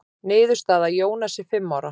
Niðurstaða: Jónas er fimm ára.